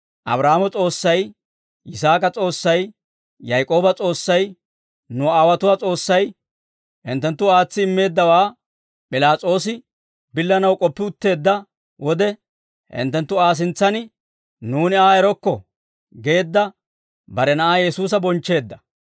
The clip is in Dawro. Abraahaamo S'oossay, Yisaak'a S'oossay, Yaak'ooba S'oossay, nu aawotuwaa S'oossay, hinttenttu aatsi immeeddawaa P'ilaas'oosi billanaw k'oppi utteedda wode, hinttenttu Aa sintsan, ‹Nuuni Aa erokko› geedda bare Na'aa Yesuusa bonchcheedda.